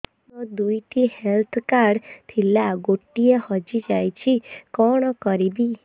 ମୋର ଦୁଇଟି health card ଥିଲା ଗୋଟିଏ ହଜି ଯାଇଛି କଣ କରିବି